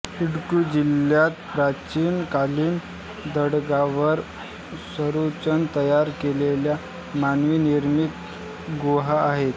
इडुक्की जिल्ह्यात प्राचीन कालीन दगडांवर रचून तयार केलेल्या मानवनिर्मित गुहा आहेत